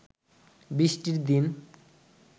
বৃষ্টির দিন